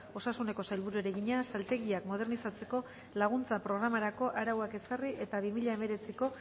osasuneko sailburuari egina saltegiak modernizatzeko laguntza programarako arauak ezarri eta bi mila hemeretziko